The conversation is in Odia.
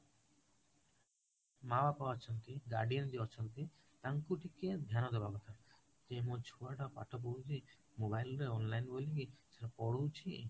ମା ବାପା ଅଛନ୍ତି guardian ଯୋଉ ଅଛନ୍ତି ତାଙ୍କୁ ଟିକେ ଧ୍ୟାନ ଦଵା କଥା ଯେ ମୋ ଛୁଆ ଟା ପାଠ ପଢୁଛି mobile ରେ online ବୋଲି ସେ ପଢୁଛି